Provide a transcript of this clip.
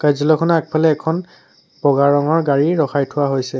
খনৰ আগফালে এখন বগা ৰঙৰ গাড়ী ৰখাই থোৱা হৈছে।